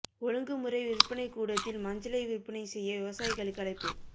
ஒழுங்கு முறை விற்பனைக் கூடத்தில் மஞ்சளை விற்பனை செய்ய விவசாயிகளுக்கு அழைப்பு